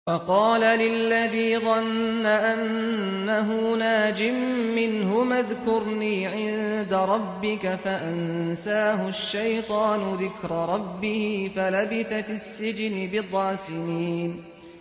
وَقَالَ لِلَّذِي ظَنَّ أَنَّهُ نَاجٍ مِّنْهُمَا اذْكُرْنِي عِندَ رَبِّكَ فَأَنسَاهُ الشَّيْطَانُ ذِكْرَ رَبِّهِ فَلَبِثَ فِي السِّجْنِ بِضْعَ سِنِينَ